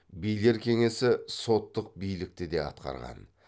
билер кеңесі соттық билікті де атқарған